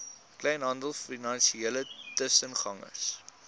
kleinhandel finansiële tussengangers